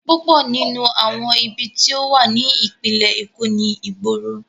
Púpọ̀ nínú àwọn ibi tí ó wà ní ìpínlẹ̀ Èkó ni ìgboro.